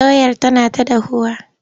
Doyar tana ta dahuwa.